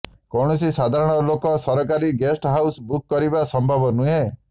କୌଣସି ସାଧାରଣ ଲୋକ ସରକାରୀ ଗେଷ୍ଟ ହାଉସ୍ ବୁକ୍ କରିବା ସମ୍ଭବ ନୁହେଁ